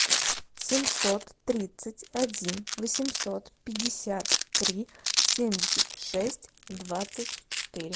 семьсот тридцать один восемьсот пятьдесят три семьдесят шесть двадцать четыре